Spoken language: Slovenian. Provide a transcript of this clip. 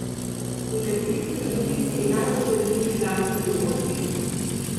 In kateri so bili tisti najbolj zanimivi glasbeni dogodki?